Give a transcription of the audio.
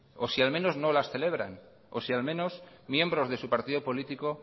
o si al menos no las celebran o si al menos miembros de su partido político